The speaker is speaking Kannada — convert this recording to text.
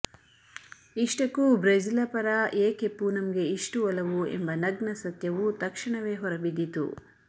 ಇಷ್ಟಕ್ಕೂ ಬ್ರೆಜಿಲ ಪರ ಏಕೆ ಪೂನಂಗೆ ಇಷ್ಟು ಒಲವು ಎಂಬ ನಗ್ನ ಸತ್ಯವೂ ತಕ್ಷಣವೇ ಹೊರಬಿದ್ದಿತು